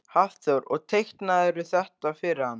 Hafþór: Og teiknaðirðu þetta fyrir hann?